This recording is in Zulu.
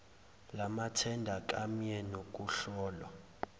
lamathenda kamye nokuhlolwa